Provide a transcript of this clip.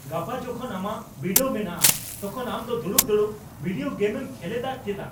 ᱜᱟᱯᱟ ᱡᱚᱠᱷᱚᱱ ᱟᱢᱟᱜ ᱵᱤᱰᱟᱹᱣ ᱢᱮᱱᱟᱜᱼᱟ ᱛᱚᱠᱷᱚᱱ ᱟᱢ ᱫᱚ ᱫᱩᱲᱩᱵ ᱫᱩᱲᱩᱵ ᱵᱷᱤᱰᱤᱭᱳ ᱜᱮᱢᱮᱢ ᱠᱷᱮᱞᱮᱫᱟ ᱪᱮᱫᱟᱜ ?